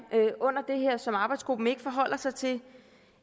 under det her som arbejdsgruppen ikke forholder sig til